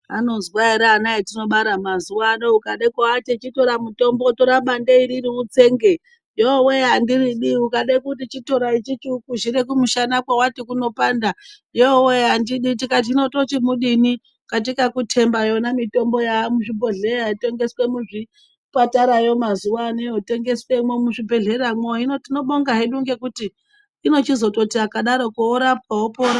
Anozwa ere ana etinobara mazuwaano ukaati chitora muthombo, tora bande iriri utsenge, yoo wee ! andiridi, ukade kuti chitora ichichi ukwizhire kumusana kwewati kunopanda, yoo wee!, andidi ,tikati hino tochikudini katika kutemba yona iyoyo mithombo yaa muzvibhodhleya yotengeswe muzvipatarayo mazuwawa ano yotengeswemwo muzvibhedhlera mwo, hino tinotenda hedu ngekuti inochizoti akadaroko worapwa wopora.